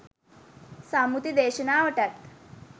සම්මුති දේශනාවටත්